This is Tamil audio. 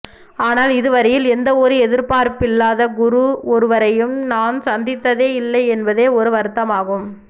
ஆனால் இதுவரையில் எந்தவொரு எதிர்பார்ப்பில்லாத குரு ஒருவரையும் நான் சந்தித்ததே இல்லை என்பது ஒரு வருத்தமாகும்